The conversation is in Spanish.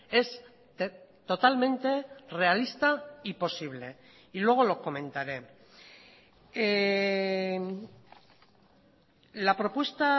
es totalmente realista y posible y luego lo comentaré la propuesta